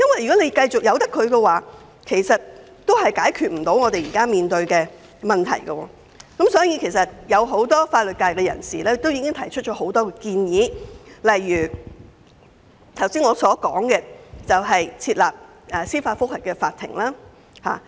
如果繼續不處理，將無法解決現時面對的問題，所以很多法律界人士曾提出很多建議，例如剛才所說的設立司法覆核法庭。